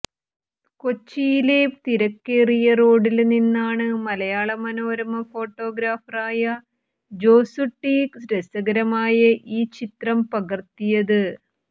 കൊച്ചിയിലെ തിരക്കേറിയ റോഡില് നിന്നാണ് മലയാള മനോരമ ഫോട്ടോഗ്രാഫറായ ജോസ്കുട്ടി രസകരമായ ഈ ചിത്രം പകര്ത്തിയത്